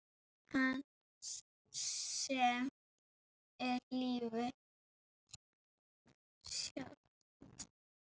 Hans sem er lífið sjálft.